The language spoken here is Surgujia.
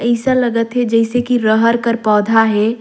अइसा लगा थे जइसे की रहर कर पौधा हे।